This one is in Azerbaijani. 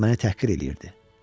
Məni təhqir eləyirdi.